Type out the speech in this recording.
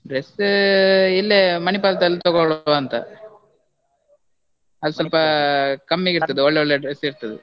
dress , ಇಲ್ಲೇ Manipal ದಲ್ಲಿ ತಗೋಳ್ವ ಅಂತ ಅಲ್ಲಿ ಸ್ವಲ್ಪ ಕಮ್ಮಿಗೆ ಇರ್ತದೆ ಒಳ್ಳೊಳ್ಳೆ dress ಇರ್ತದೆ.